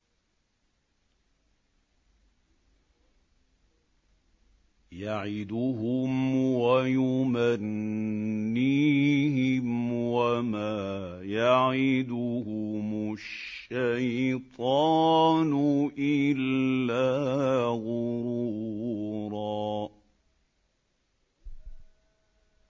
يَعِدُهُمْ وَيُمَنِّيهِمْ ۖ وَمَا يَعِدُهُمُ الشَّيْطَانُ إِلَّا غُرُورًا